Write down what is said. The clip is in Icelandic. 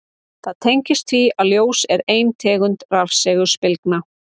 Það tengist því að ljós er ein tegund rafsegulbylgna.